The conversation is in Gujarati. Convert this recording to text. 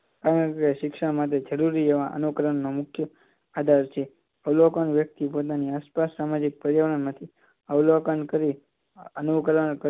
આ શિક્ષણ માંથી જરૂરી એવા અનુકરણ મુખ્ય જરૂરી આધાર છે અવલોન વ્યક્તિ પોતાની આસપાસના પોતાની આસપાસના સામાજિક પર્યાવરણ માંથી અવલોકન કરી અનુકરણ